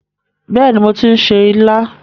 Bẹ́ẹ̀ni, mo ti ń se ilá.